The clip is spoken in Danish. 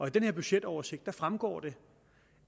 i den her budgetoversigt fremgår det